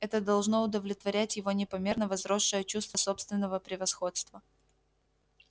это должно удовлетворять его непомерно возросшее чувство собственного превосходства